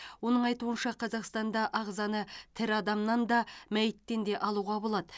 оның айтуынша қазақстанда ағзаны тірі адамнан да мәйіттен де алуға болады